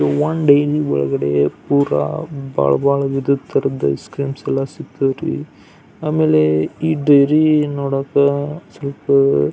dairy ಒಳಗಡೆ ಪುರ ಬಹಳ ಬಹಳ ವಿಧದ್ ತರಹದ ಐಸ್ ಕ್ರೀಮ್ ಎಲ್ಲ ಸಿಗತವರೀ ಆಮೇಲೆ ಈ ಡೈರಿ ನೋಡಾಕ ಸ್ವಲ್ಪ--